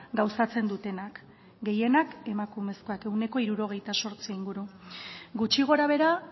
gauzatzen dutenak gehienak emakumezkoak ehuneko hirurogeita zortzi inguru gutxi gorabehera